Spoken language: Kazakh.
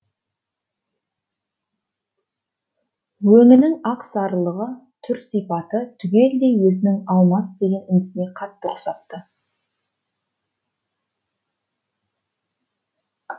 өңінің ақ сарылығы түр сипаты түгелдей өзінің алмас деген інісіне қатты ұқсапты